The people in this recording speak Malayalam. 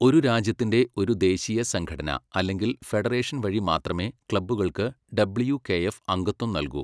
ഒരു രാജ്യത്തിൻ്റെ ഒരു ദേശീയ സംഘടന അല്ലെങ്കിൽ ഫെഡറേഷൻ വഴി മാത്രമേ ക്ലബ്ബുകൾക്ക് ഡബ്ല്യൂ.കെ.എഫ്. അംഗത്വം നൽകൂ.